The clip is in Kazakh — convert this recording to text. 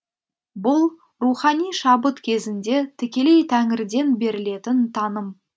бұл рухани шабыт кезінде тікелей тәңірден берілетін таным